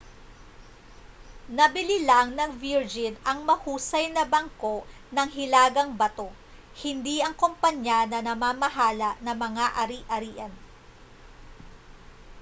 nabili lang ng virgin ang ‘mahusay na bangko’ ng hilagang bato hindi ang kompanya na namamahala ng mga ari-arian